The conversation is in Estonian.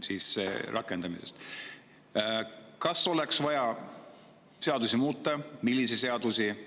Kas oleks vaja seadusi muuta ja milliseid seadusi?